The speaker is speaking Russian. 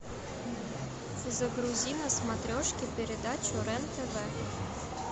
загрузи на смотрешке передачу рен тв